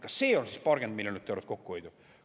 Kas see on siis paarkümmend miljonit eurot kokkuhoidu?